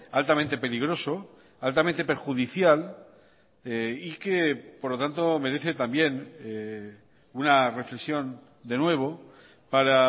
altamente peligroso altamente perjudicial y que por lo tanto merece también una reflexión de nuevo para